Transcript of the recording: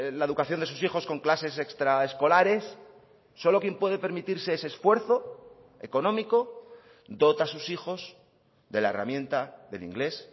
la educación de sus hijos con clases extra escolares solo quien puede permitirse ese esfuerzo económico dota a sus hijos de la herramienta del inglés